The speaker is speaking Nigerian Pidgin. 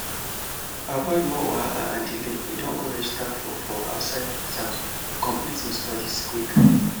to avoid more wahala and delay e don go register for for outside exam to complete him studies quick